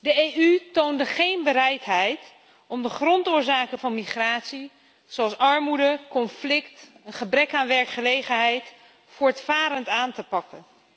De EU toonde geen bereidheid om de grondoorzaken van migratie, zoals armoede, conflict, een gebrek aan werkgelegenheid, voortvarend aan te pakken.